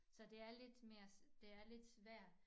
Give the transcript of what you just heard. Så det er lidt mere det er lidt svært